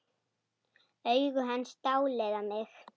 Augu hans dáleiða mig.